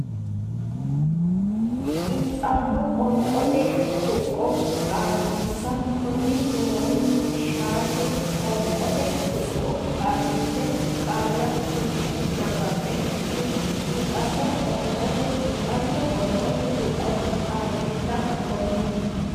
Xiinxallo Qoonqote Tuqqo Xaadisa Konni woroonni shaete qoonqote tuqqo xaadisse qaalla suwisse nabbabbe Xiinxallo Qoonqote Xiinxallo Qoonqote Tuqqo Xaadisa Konni.